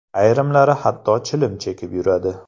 Ayrimlari hatto chilim chekib yuradi.